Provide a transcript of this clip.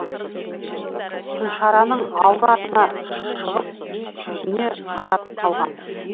күлшараның алды артына шығып сүйсіне қарап қалған